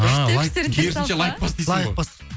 а лайк керісінше лайк бас дейсің ғой лайк бас